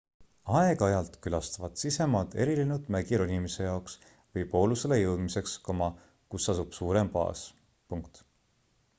aeg-ajalt külastavad sisemaad erilennud mägironimise jaoks või poolusele jõudmiseks kus asub suurem baas